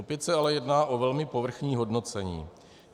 Opět se ale jedná o velmi povrchní hodnocení.